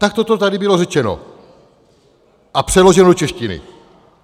Takto to tady bylo řečeno a přeloženo do češtiny.